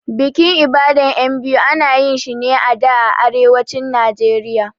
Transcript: Bikin Ibadan ƴan biyu ana yinshi ne a da a Arewacin Nijeriya